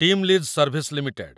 team lease service limited